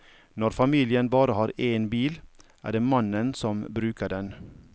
Når familien bare har én bil, er det mannen som bruker den.